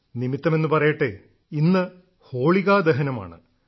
നിമിത്തമെന്നു പറയട്ടെ ഇന്ന് ഹോളികാ ദഹനമാണ്